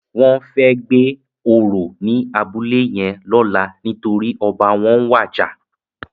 Wòn fè gbé óró ni àbúlé yèn lòlá nitóri òbá wòn wàjá